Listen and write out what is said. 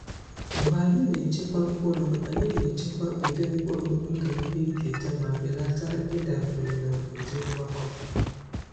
Mgbe anyị na-echekwa mkpụrụ, anyị na-echekwa ụdị mkpụrụ ndụ ihe nketa ma belata ịdabere na ụdị ngwakọ.